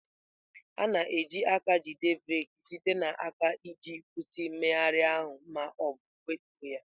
A na-eji aka eji breeki site n'aka iji kwụsị mmegharị ahụ ma ọ bụ wetuo ya.